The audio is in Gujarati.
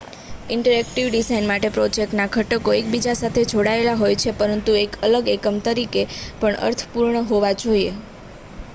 ઇન્ટરેક્ટિવ ડિઝાઇન માટે પ્રોજેક્ટના ઘટકો એકબીજા સાથે જોડાયેલા હોય છે પરંતુ એક અલગ એકમ તરીકે પણ અર્થપૂર્ણ હોવા જોઈએ